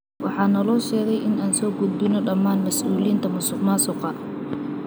Waxaa naloo sheegay in aan soo guudbino dhammaan mas’uuliyiinta musuqmaasuqa.